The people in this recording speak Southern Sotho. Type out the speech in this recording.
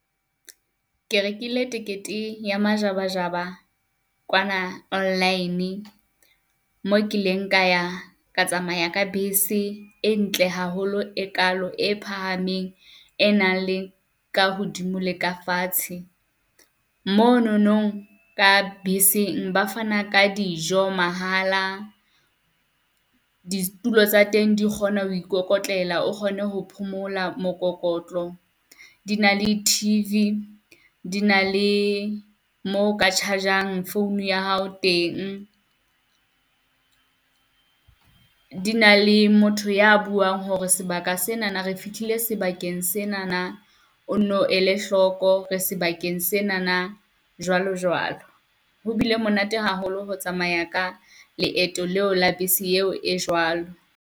Ke rekile tekete ya majabajaba kwana online, mo kileng ka ya ka tsamaya ka bese e ntle haholo, e kalo e phahameng, e nang le ka hodimo le ka fatshe. Mo nonong ka beseng ba fana ka dijo mahala. Ditulo tsa teng di kgona ho ikokotlela o kgone ho phomola mokokotlo, di na le T_V, di na le mo ka charge-ang phone ya hao teng. Di na le motho ya buang hore sebaka senana re fihlile sebakeng senana o nno ele hloko re sebakeng senang, jwalo jwalo. Ho bile monate haholo ho tsamaya ka leeto leo la bese eo e jwalo.